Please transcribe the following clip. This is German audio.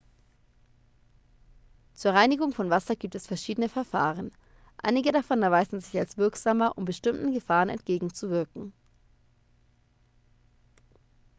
zur reinigung von wasser gibt es verschiedene verfahren einige davon erweisen sich als wirksamer um bestimmten gefahren entgegenzuwirken